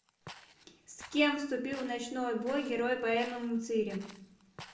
с кем вступил в ночной бой герой поэмы мцыри